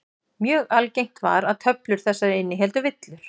Mjög algengt var að töflur þessar innihéldu villur.